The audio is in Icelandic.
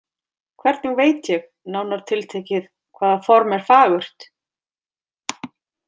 Hvernig veit ég, nánar tiltekið, hvaða form er fagurt?